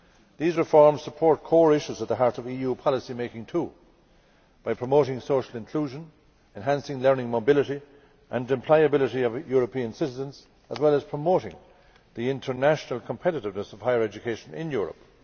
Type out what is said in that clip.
These reforms support core issues at the heart of EU policymaking too, by promoting social inclusion, enhancing learning mobility and employability of European citizens, as well as promoting the international competitiveness of higher education in Europe.